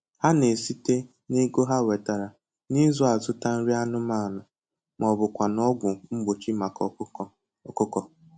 Ha na-esitenn'ego ha nwetara n'izu azụta nri anụmanụ maọbụkwanụ ọgwụ mgbochi maka ọkụkọ ọkụkọ